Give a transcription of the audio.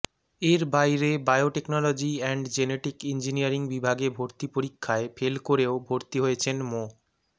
এর বাইরে biotechnology and genetic engineering বিভাগে ভর্তি পরীক্ষায় ফেল করেও ভর্তি হয়েছেন মো